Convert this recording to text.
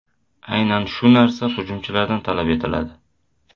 Aynan shu narsa hujumchilardan talab etiladi.